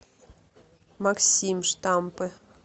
максим штампы